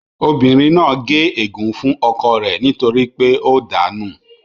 Obìnrin náà gé ègún fún ọkọ rẹ nítorí pé ó dàá nù